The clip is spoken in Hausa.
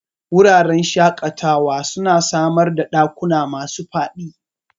Wuraren shakatawa suna samar ɗakuna masu faɗi